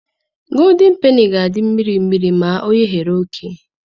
Godin peni ga-adị mmiri mmiri ma oyeghara oké.